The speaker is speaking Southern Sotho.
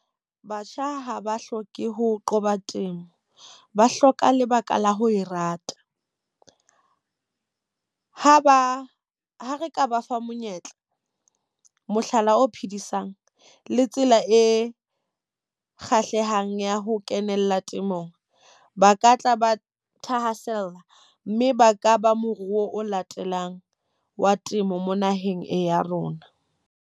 Batjha ha ba hloke ho qoba temo, ba hloka lebaka la ho e rata. Ha ba ha re ka ba fa monyetla, mohlala o phedisang le tsela e kgahlehang ya ho kenella temong. Ba ka tla ba thahasella, mme ba ka ba moruo o latelang wa temo mo naheng e ya rona.